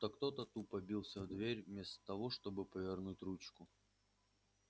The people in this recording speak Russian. будто кто-то тупо бился в дверь вместо того чтобы повернуть ручку